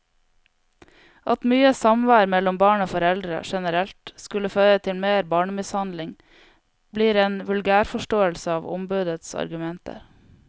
At mye samvær mellom barn og foreldre generelt skulle føre til mer barnemishandling, blir en vulgærforståelse av ombudets argumenter.